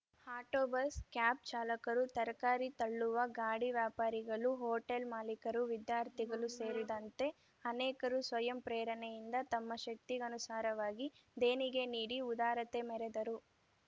auto bus cab ಚಾಲಕರು ತರಕಾರಿ ತಳ್ಳುವ ಗಾಡಿ ವ್ಯಾಪಾರಿಗಳು ಹೋಟಲ್‌ ಮಾಲೀಕರು ವಿದ್ಯಾರ್ಥಿಗಳು ಸೇರಿದಂತೆ ಅನೇಕರು ಸ್ವಯಂ ಪ್ರೇರಣೆಯಿಂದ ತಮ್ಮ ಶಕ್ತಿಗನುಸಾರವಾಗಿ ದೇಣಿಗೆ ನೀಡಿ ಉದಾರತೆ ಮೆರೆದರು